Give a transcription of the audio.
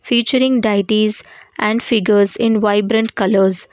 featuring dieties and figures in vibrant colours.